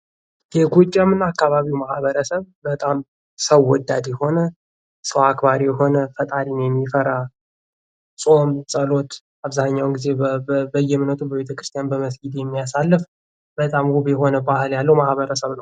የጎጃም እና አካባቢው ማህበረሰብ በጣም ሰው ወዳጅ የሆነ፣ ሰው አክባሪ ሆነህ ፣ ፈጣሪን የሚፈራ፣ ጾም ጸሎት አብዛኛውን ጊዜ በየእምነቱ በቤተ ክርስቲያን በ መስጊድ የሚያሳልፍ በጣም ውብ የሆነ ባህል ያለው ማህበረሰብ ነው።